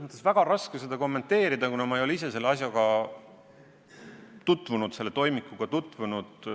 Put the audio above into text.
Mul on väga raske seda kommenteerida, kuna ma ei ole ise selle asjaga, selle toimikuga tutvunud.